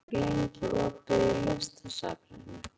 Doddi, hvað er lengi opið í Listasafninu?